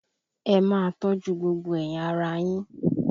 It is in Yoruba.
Ẹ máa tọ́jú gbogbo ẹ̀yà ara yín!